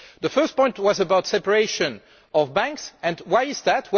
The first point was about the separation of banks, and why is that?